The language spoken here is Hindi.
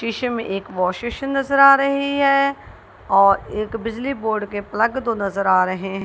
शीशे में एक वाश बेसिन नजर आ रही है और एक बिजली बोर्ड के प्लग दो नजर आ रहे हैं।